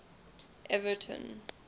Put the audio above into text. everton